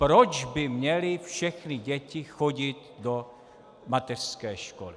Proč by měly všechny děti chodit do mateřské školy?